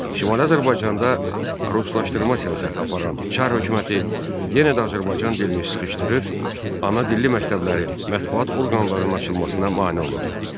Şimali Azərbaycanda ruslaşdırma siyasəti aparan Çar hökuməti yenə də Azərbaycan dilini sıxışdırır, ana dilli məktəblərin, mətbuat orqanlarının açılmasına mane olurdu.